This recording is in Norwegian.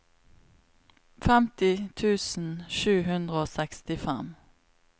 femti tusen sju hundre og sekstifem